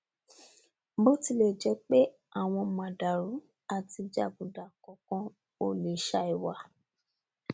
bótilẹjẹpé àwọn màndààrú àti jàgùdà kọọkan kò lè sàì wà